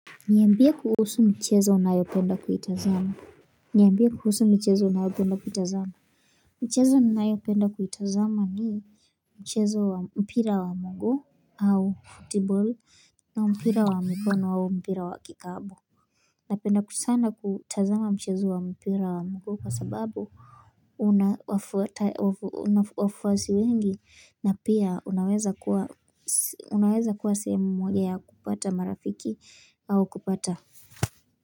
Niambie kuhusu mchezo unayopenda kuitazama Niambia kuhusu michezo unayopenda kuitazama Mchezo ninayopenda kuitazama ni mchezo wa mpira wa muguu au football na mpira wa mikono au mpira wa kikapu Napenda sana kutazama mchezo wa mpira wa mguu kwa sababu una wafuasi wengi na pia unaweza kuwa sehemu moja ya kupata marafiki au kupata.